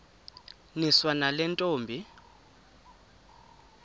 niswa nale ntombi